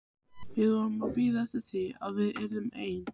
Við vorum að bíða eftir því að við yrðum ein.